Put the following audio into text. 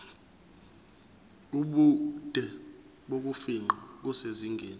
ubude bokufingqa kusezingeni